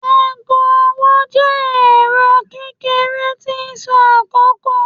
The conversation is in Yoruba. aago ọwọ jẹ ẹrọ kekere ti n sọ akoko.